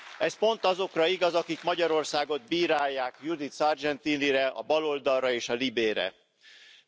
Ez pont azokra igaz, akik Magyarországot bírálják, Judith Sargentinire, a baloldalra és a LIBE bizottságra.